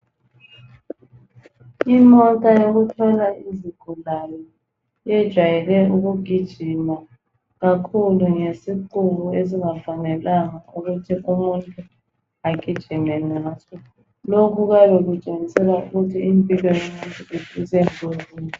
Imota yokuthwala izigulane yejwayele ukugujima kakhulu ngesiqubu esingafanelanga ukuthi umuntu agijime ngaso .Lokhu kuyabe Kutshengisela ukuthi impilo yomuntu isengozini.